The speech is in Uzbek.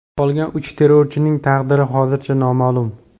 Qolgan uch terrorchining taqdiri hozircha noma’lum.